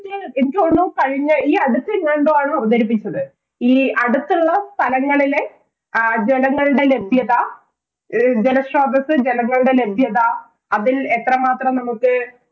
എനിക്ക് തോന്നുന്നു കഴിഞ്ഞ ഈ അടുത്തെങ്ങാണ്ടോ ആണ് അവതരിപ്പിച്ചത്. ഈ അടുത്തുള്ള സ്ഥലങ്ങളിലെ ജലങ്ങളുടെ ലഭ്യത, ജലസ്രോതസ്, ജലങ്ങളുടെ ലഭ്യത, അതില്‍ എത്ര മാത്രം നമുക്ക്